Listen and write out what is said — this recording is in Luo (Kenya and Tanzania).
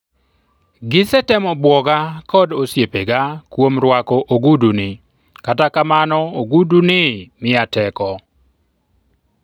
"gisetemo buoga kod osiepega kuom rwako oguduni, kata kamano ogudu'ni miya teko